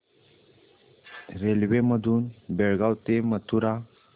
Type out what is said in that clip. railway मधून बेळगाव ते मथुरा